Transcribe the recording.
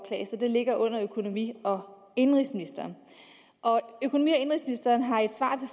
det ligger under økonomi og indenrigsministeren økonomi